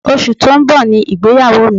Oṣù tó ń bọ̀ ni ìgbéyàwó mi